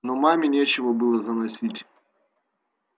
но маме нечего было заносить